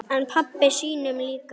En pabba sínum líka.